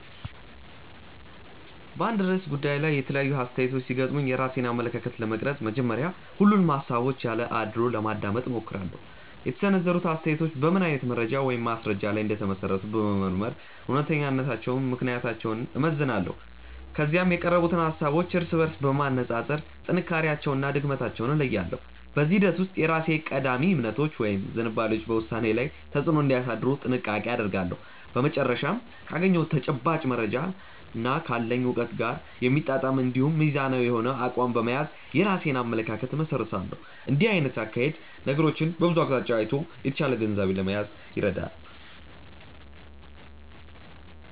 በአንድ ርዕሰ ጉዳይ ላይ የተለያዩ አስተያየቶች ሲገጥሙኝ የራሴን አመለካከት ለመቅረጽ መጀመሪያ ሁሉንም ሃሳቦች ያለ አድልዎ ለማዳመጥ እሞክራለሁ። የተሰነዘሩት አስተያየቶች በምን አይነት መረጃ ወይም ማስረጃ ላይ እንደተመሰረቱ በመመርመር እውነተኛነታቸውንና ምክንያታዊነታቸውን እመዝናለሁ። ከዚያም የቀረቡትን ሃሳቦች እርስ በርስ በማነጻጸር ጥንካሬያቸውንና ድክመታቸውን እለያለሁ። በዚህ ሂደት ውስጥ የራሴ ቀዳሚ እምነቶች ወይም ዝንባሌዎች በውሳኔዬ ላይ ተጽዕኖ እንዳያሳድሩ ጥንቃቄ አደርጋለሁ። በመጨረሻም ካገኘሁት ተጨባጭ መረጃና ካለኝ እውቀት ጋር የሚጣጣም እንዲሁም ሚዛናዊ የሆነ አቋም በመያዝ የራሴን አመለካከት እመሰርታለሁ። እንዲህ አይነቱ አካሄድ ነገሮችን ከብዙ አቅጣጫ አይቶ የተሻለ ግንዛቤ ለመያዝ ይረዳል።